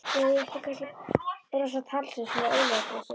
Eða ætti ég kannski að brosa stanslaust, svona eilífðarbrosi?